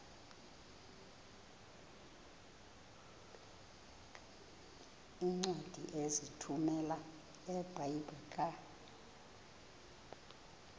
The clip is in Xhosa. iincwadi ozithumela ebiblecor